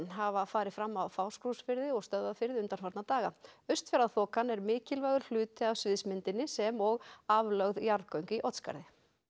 hafa farið fram á Fáskrúðsfirði og Stöðvarfirði undanfarna daga austfjarðaþokan er mikilvægur hluti af sviðsmyndinni sem og aflögð jarðgöng í Oddsskarði